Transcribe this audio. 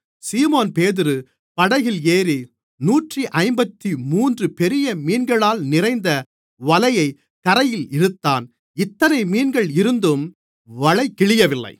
சீமோன்பேதுரு படகில் ஏறி நூற்று ஐம்பத்துமூன்று பெரிய மீன்களால் நிறைந்த வலையைக் கரையில் இழுத்தான் இத்தனை மீன்கள் இருந்தும் வலை கிழியவில்லை